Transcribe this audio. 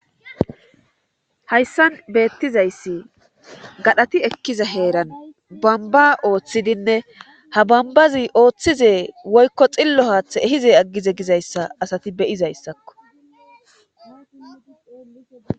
hayssan beettizayssi gadhati ekkiza heeran bamba ooththidinne ha bambazi ooththize woykko xillo haaththe ehize aggize gizayssa asati beyizayssakko